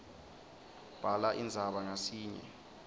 bhala indzaba ngasinye